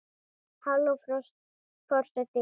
Halló forseti minn!